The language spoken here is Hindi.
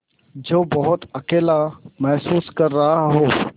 जो बहुत अकेला महसूस कर रहा हो